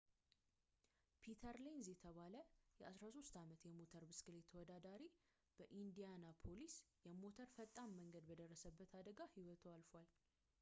ፒተር ሌንዝ የተባለ የ 13 ዓመት የሞተር ብስክሌት ተወዳዳሪ በኢንዲያናፖሊስ የሞተር ፈጣን መንገድ በደረሰበት አደጋ ህይወቱ አልፏል